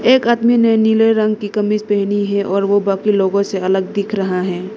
एक आदमी ने नीले रंग की कमीज पहनी है और वो बाकी लोगों से अलग दिख रहा है।